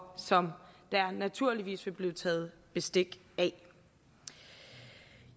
som der naturligvis vil blive taget bestik af